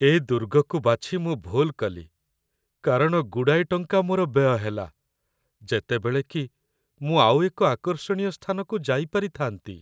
ଏ ଦୁର୍ଗକୁ ବାଛି ମୁଁ ଭୁଲ୍ କଲି, କାରଣ ଗୁଡ଼ାଏ ଟଙ୍କା ମୋର ବ୍ୟୟ ହେଲା, ଯେତେବେଳେ କି ମୁଁ ଆଉ ଏକ ଆକର୍ଷଣୀୟ ସ୍ଥାନକୁ ଯାଇପାରିଥାନ୍ତି।